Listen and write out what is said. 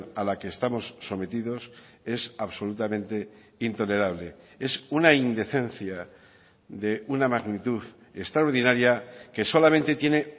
a la que estamos sometidos es absolutamente intolerable es una indecencia de una magnitud extraordinaria que solamente tiene